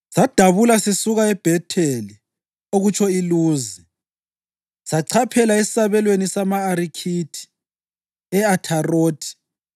Sadabula sisuka eBhetheli (okutsho iLuzi) sachaphela esabelweni sama-Arikhithi e-Atharothi,